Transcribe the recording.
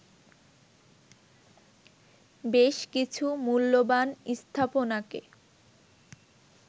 বেশ কিছু মূল্যবান স্থাপনাকে